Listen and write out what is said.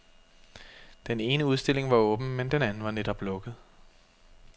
Den ene udstilling var åben, men den anden var netop lukket.